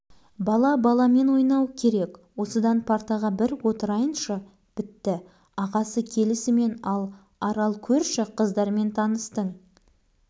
бала баламен ойнауы керек осыдан партаға бір отырайыншы бітті ағасы келісімен ал арал көрші қыздармен таныстың